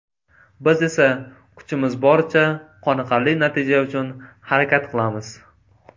Biz esa kuchimiz boricha, qoniqarli natija uchun harakat qilamiz.